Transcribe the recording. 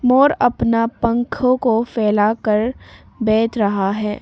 मोर अपना पंखों को फैला कर बैठ रहा है।